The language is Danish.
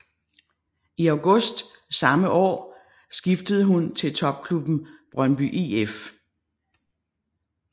I august samme år skiftede hun til topklubben Brøndby IF